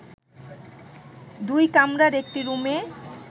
দুই কামরার একটি রুমে